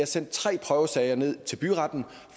sendt tre prøvesager ned til byretten